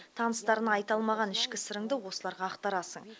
таныстарыңа айта алмаған ішкі сырыңды осыларға ақтарасың